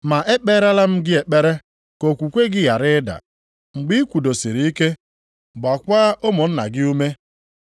Ma ekpeelara m gị ekpere ka okwukwe gị ghara ịda. Mgbe ị kwudosiri ike, gbaakwa ụmụnna gị ume.”